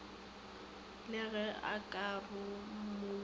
le ge o ka rumulwa